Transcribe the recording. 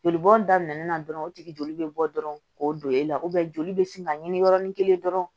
Joli bɔn daminɛ na dɔrɔn o tigi joli bɛ bɔ dɔrɔn k'o don e la joli bɛ sin ka ɲini yɔrɔnin kelen dɔrɔn